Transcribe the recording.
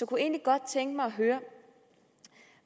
kunne egentlig godt tænke mig at høre